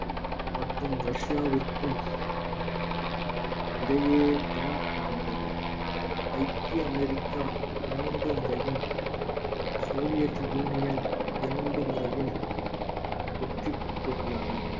மற்றும் ரஷ்யாவிற்கும் இடையேதான் நடந்தது ஐக்கிய அமெரிக்கா பன்னிரண்டு முறையும் சோவியத் யூனியன் இரண்டு முறையும் வெற்றி பெற்றுள்ளன